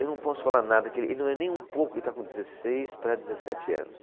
Eu não posso falar nada... Que ele, ele não é nem um pouco... Ele está com dezesseis para dezessete anos.